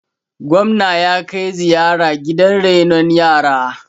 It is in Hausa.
gwamna ya kai ziyara gidan renon yara